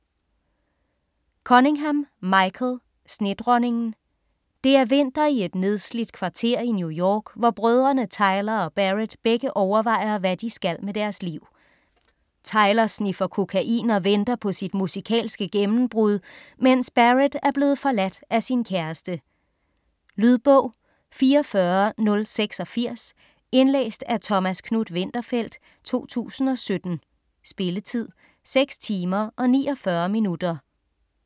Cunningham, Michael: Snedronningen Det er vinter i et nedslidt kvarter i New York, hvor brødrene Tyler og Barrett begge overvejer, hvad de skal med deres liv. Tyler sniffer kokain og venter på sit musikalske gennembrud, mens Barrett er blevet forladt af sin kæreste. Lydbog 44086 Indlæst af Thomas Knuth-Winterfeldt, 2017. Spilletid: 6 timer, 49 minutter.